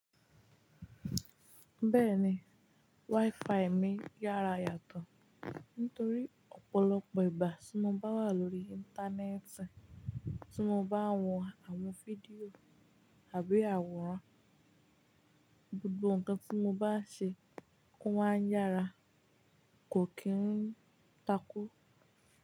Bẹ́ẹ̀ni, wifi mi yára yàtọ̀ nítorí ọ̀pọ̀lọpọ̀ ìgbà tí mo bá wà lórí Íńtánẹ́ẹ̀tì, tí mo bá ń wo àwọn fídíò àbí àwòrán, gbogbo ǹkan tí mo bá ṣe ó máa ń yára kò kí n takú.